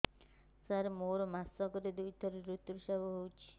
ସାର ମୋର ମାସକରେ ଦୁଇଥର ଋତୁସ୍ରାବ ହୋଇଯାଉଛି